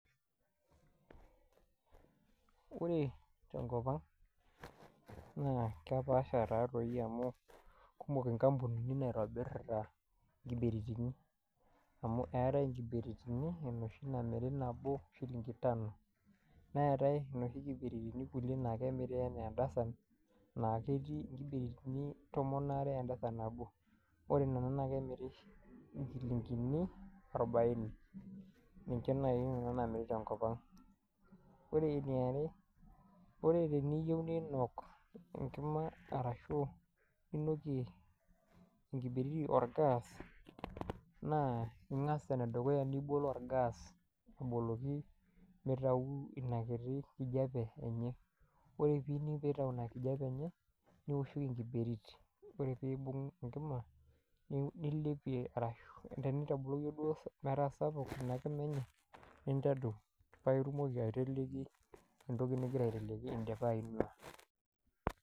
Ore tenkop ang' naa kepaasha taadoi amu kumok inkampunini naotobir nkibiritini. amu eetae nkibiritini enoshi namiri nabo hilinki tano. neetae inoshi kulie naamiri anaa edasan. naa ketii nkibiritini tomon aarr edasan nabo ore Nena naa kemiri enkini arbaine. ninche naaji Nena naamiri tenkop ang'.pre eeniare ore teniyieu ninok, enkima arashu ninokie enkibirito Olga's naa ingas, ene dukuya nibol olgas aboloki, mitau inakiti kijiape enye. nioshoki enkibirito ore pee ibung enkima. nilepie ashu tenintadoyio duo. metaa sapuk I a kima enye. nintadou. paa itumoki aiteleki ewueji nigira aiteleki idipa ainuaa.